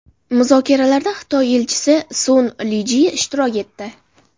Muzokaralarda Xitoy Elchisi Sun Lijie ishtirok etdi.